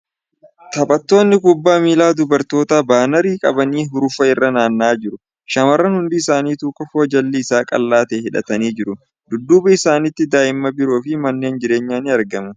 Taphattoonni kubbaa miilaa dubartootaa baanarii qabanii hurufa irra naanna'aa jiru . Shamarran hundi isanituu kofoo jalli isaa qallaa ta'e hidhatanii jiru . Dudduuba isaaniitti daa'imma biroo fi manneen jireenyaa ni argamu .